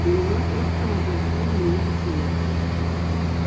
илья просто отобрал у него пистолет